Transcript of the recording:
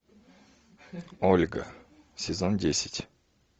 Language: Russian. ольга сезон десять